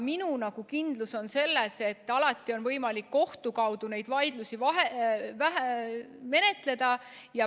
Ma olen kindel selles, et alati on võimalik kohtu kaudu neid vaidlusi menetleda.